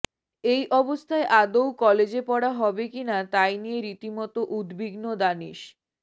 এই অবস্থায় আদৌ কলেজে পড়া হবে কিনা তাই নিয়ে রীতিমতো উদ্বিগ্ন দানিশ